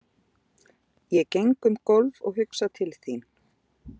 Ég geng um gólf og hugsa til þín.